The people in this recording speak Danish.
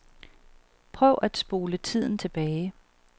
Prøv at spole tiden tilbage.